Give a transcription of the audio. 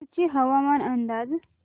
कुडची हवामान अंदाज